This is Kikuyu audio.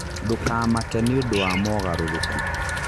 Ndukanamake nĩũndũ wa moogarũrũku.